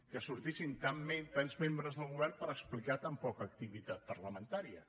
que sortissin tants membres del govern per explicar tan poca activitat parlamentària